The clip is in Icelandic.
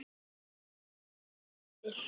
Gulli var kominn yfir.